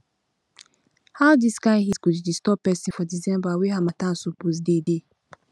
how dis kain heat go dey disturb pesin for december wen harmattan suppose dey dey